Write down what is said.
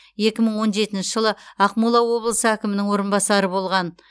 екі мың он жетінші жылы ақмола облысы әкімінің орынбасары болған